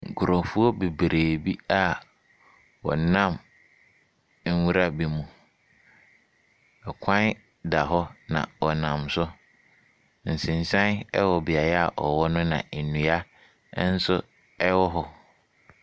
Nkurɔfoɔ bebree bi a wɔnam nwura bi mu. Kwan da hɔ, na wɔnam so. Nsensan wɔ beaeɛ a wɔwɔ no na nnua nso wɔ hɔ.